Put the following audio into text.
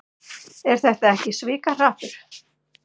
Er þetta ekki svikahrappur?